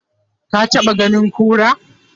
ka taɓa ganin kura?